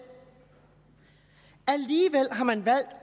alligevel har man valgt